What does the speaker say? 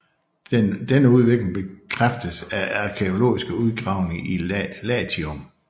Denne udvikling bekræftes af arkæologiske udgravninger i Latium